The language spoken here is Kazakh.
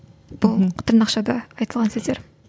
толық тырнақшада айтылған сөздер